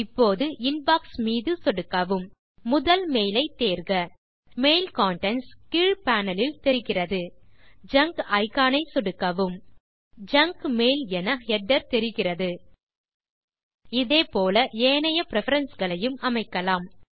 இப்போது இன்பாக்ஸ் மீது சொடுக்கவும் முதல் மெயில் ஐ தேர்க மெயில் கன்டென்ட்ஸ் கீழ் பேனல் லில் தெரிகிறது ஜங்க் இக்கான் ஐ சொடுக்கவும் ஜங்க் மெயில் என ஹெடர் தெரிகிறது இதே போல ஏனைய பிரெஃபரன்ஸ் களையும் அமைக்கலாம்